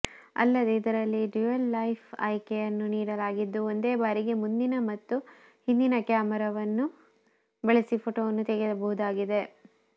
ಅಲ್ಲದೇ ಇದರಲ್ಲಿ ಡ್ಯೂಯಲ್ಫೈಲ್ ಆಯ್ಕೆಯನ್ನು ನೀಡಲಾಗಿದ್ದು ಒಂದೇ ಬಾರಿಗೆ ಮುಂದಿನ ಮತ್ತು ಹಿಂದಿನ ಕ್ಯಾಮರಾವನ್ನು ಬಳಸಿ ಫೋಟೋವನ್ನು ತೆಗೆಯಬಹುದಾಗಿದೆ